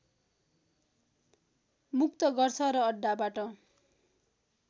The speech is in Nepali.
मुक्त गर्छ र अड्डाबाट